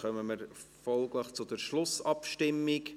Folglich kommen wir zur Schlussabstimmung.